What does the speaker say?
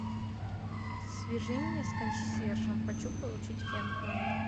свяжи меня с консьержем хочу получить фен в номер